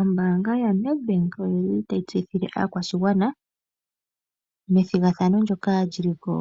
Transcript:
Ombaanga yoNedbank oyi li tayi tseyithile aakwashigwana ethigathano ndhoka li li ko